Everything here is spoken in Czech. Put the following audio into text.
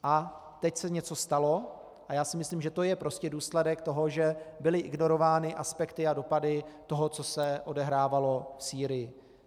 A teď se něco stalo, A já si myslím, že to je prostě důsledek toho, že byly ignorovány aspekty a dopady toho, co, se odehrávalo v Sýrii.